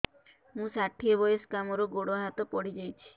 ମୁଁ ଷାଠିଏ ବୟସ୍କା ମୋର ଗୋଡ ହାତ ପଡିଯାଇଛି